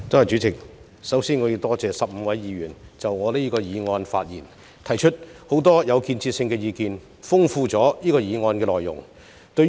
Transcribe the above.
主席，首先，我要多謝15位議員就我提出的議案發言，並提出了很多具建設性的意見，豐富了這項議案的內容。